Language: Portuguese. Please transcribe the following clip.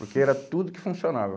Porque era tudo que funcionava.